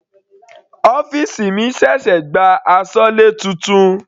Ọ́fìsì mi ṣẹ̀ṣẹ̀ gba asọlé titun.